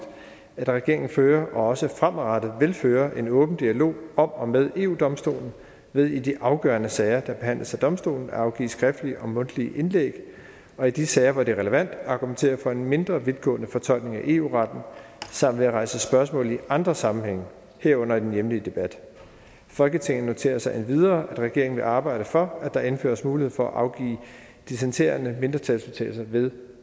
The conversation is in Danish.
at regeringen fører og også fremadrettet vil føre en åben dialog om og med eu domstolen ved i de afgørende sager der behandles af domstolen at afgive skriftlige og mundtlige indlæg og i de sager hvor det er relevant argumentere for en mindre vidtgående fortolkning af eu retten samt ved at rejse spørgsmålet i andre sammenhænge herunder i den hjemlige debat folketinget noterer sig endvidere at regeringen vil arbejde for at der indføres mulighed for at afgive dissentierende mindretalsudtalelser ved